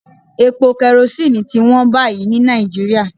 Epo kerosíìnì ti wón báyìí ní Nàìjíríà